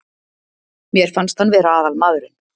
Mér fannst hann vera aðalmaðurinn.